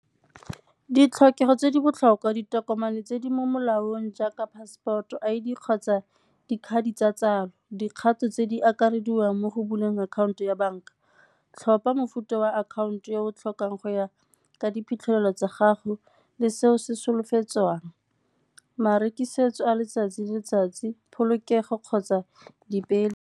Ditlhokego tse di botlhokwa, ditokomane tse di mo molaong jaaka passport-o, I_D kgotsa dikgang di tsa tsalo dikgato tse di akarediwang mo go buleng akhaonto ya banka. Tlhopha mofuta wa akhaonto e o tlhokang go ya ka diphitlhelelo tsa gago le seo se solofetsweng, marekisetso a letsatsi le letsatsi, polokego kgotsa di .